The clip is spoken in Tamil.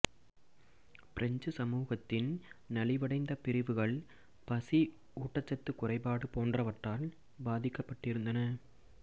பிரெஞ்சு சமூகத்தின் நலிவடைந்த பிரிவுகள் பசி ஊட்டச்சத்துகுறைபாடு போன்றவற்றால் பாதிக்கப்பட்டிருந்தன